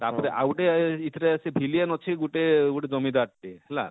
ତାପରେ ଆଉ ଗୁଟେ ଇଥିରେ ଅଛେ villian ଅଛେ ଗୁଟେ ଜମିଦାର ଟେ ହେଲା